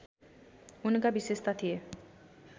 उनका विशेषता थिए